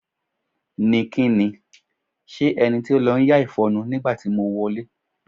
Ni kí ni? S̩e e̩ni to ń lá ìfo̩nu nígbà tí mo wo̩lé